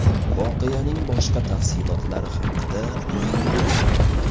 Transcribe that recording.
Voqeaning boshqa tafsilotlari haqida ma’lumot yo‘q.